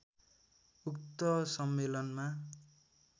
उक्त सम्मेलनमा